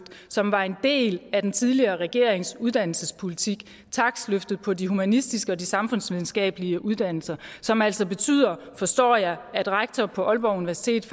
som var en del af den tidligere regerings uddannelsespolitik takstløftet på de humanistiske og samfundsvidenskabelige uddannelser som altså betyder forstår jeg at rektor på aalborg universitet